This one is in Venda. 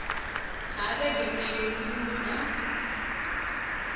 ha vhege mbili dziṅwe na